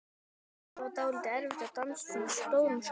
Það var dálítið erfitt að dansa á svona stórum skóm.